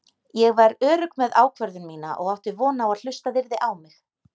Ég var örugg með ákvörðun mína og átti von á að hlustað yrði á mig.